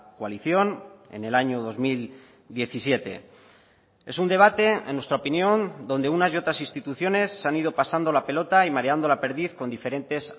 coalición en el año dos mil diecisiete es un debate en nuestra opinión donde unas y otras instituciones se han ido pasando la pelota y mareando la perdiz con diferentes